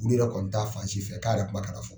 Minnu yɛrɛ kɔni t'a fansi fɛ k'a yɛrɛ kuma ka na fɔ.